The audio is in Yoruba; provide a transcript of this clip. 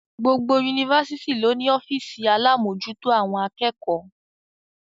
Gbogbo Yunifásitì ló ní ọ́fìsì alámòjútó àwọn akẹ́kọ̀ọ́.